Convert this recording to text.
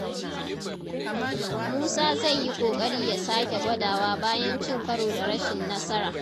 Musa zai yi ƙoƙari ya sake gwadawa bayan cin karo da rashin nasara.